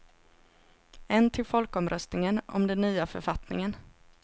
En till folkomröstningen om den nya författningen.